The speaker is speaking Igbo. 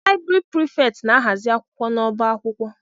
Laịbrị Prịfèkt na-ahazi akwụkwọ n'ọba akwụkwọ.